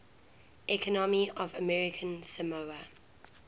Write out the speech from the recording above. economy of american samoa